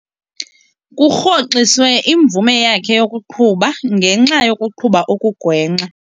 Kurhoxiswe imvume yakhe yokuqhuba ngenxa yokuqhuba okugwenxa.